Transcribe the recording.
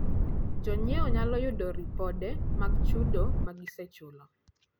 Jonyiewo nyalo yudo ripode mag chudo ma gisechulo.